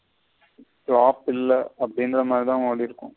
Flop ட் இல்ல அப்டிங்குற மாதிரித ஓடிருக்கும்.